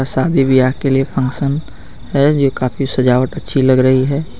शादी विवाह के लिए फंक्शन है ये काफी सजावट अच्छी लग रही है।